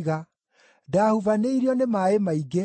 ndaahubanĩirio nĩ maaĩ maingĩ,